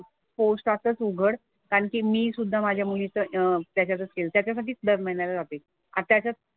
पोस्टातच उघड. कारण की मी सुद्धा माझ्या मुलीचं त्याच्यातच केलं. त्याच्यासाठी दर महिन्याला जाते. आणि त्याच्यात,